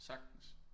Sagtens